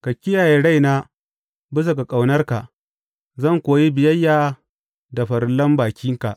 Ka kiyaye raina bisa ga ƙaunarka, zan kuwa yi biyayya da farillan bakinka.